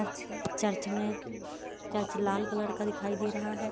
Church मे church लाल colour का दिखाई दे रहा है।